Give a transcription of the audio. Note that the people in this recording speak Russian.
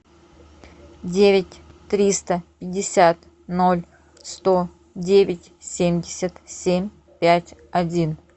девять триста пятьдесят ноль сто девять семьдесят семь пять один